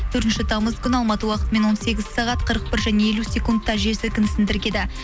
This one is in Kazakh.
төртінші тамыз күні алматы уақытымен он сегіз сағат қырық бір және елу секундта жел сілкінісін тіркеді